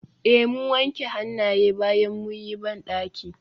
Eh mun wanke hannaye bayan mun yi bandaki.